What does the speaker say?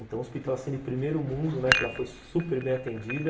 Então, hospital assim, de primeiro mundo, né, que ela foi super bem atendida,